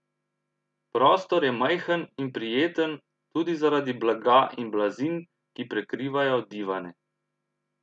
Prostor je majhen in prijeten, tudi zaradi blaga in blazin, ki prekrivajo divane.